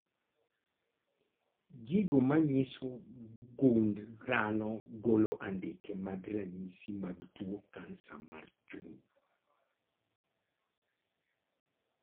Gigo manyiso gund dhano golo andike mag ranyisi mag tuo kansa mar chuny